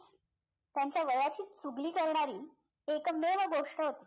त्यांच्या वयाची चुगली करणारी एकमेव गोष्ट होती